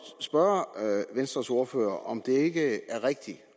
spørge venstres ordfører om det ikke er rigtigt